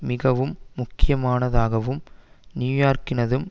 மிகவும் முக்கியமானதாகவும் நியூயோர்க்கினதும்